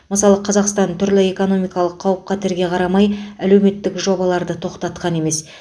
мысалы қазақстан түрлі экономикалық қауіп қатерге қарамай әлеуметтік жобаларды тоқтатқан емес